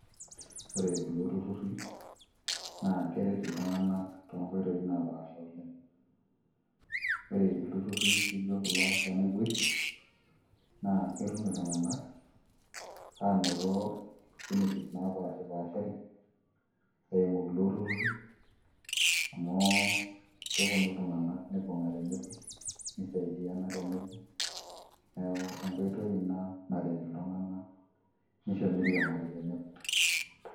Ore kulo turrurri, na keret iltung'anak tonkoitoii napaasha oleng. Ore ilturrurri lijo kulo lenaboisho, naa ketum iltung'anak anoto opportunities napashipashari, eimu kulo turrurri, amu keponu iltung'anak aibung'a tenebo nisaidiana tenebo, neeku enkoitoi ina naret iltung'anak nisho miriamari tenebo.